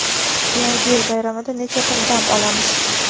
Yangi yil bayramida necha kun dam olamiz?.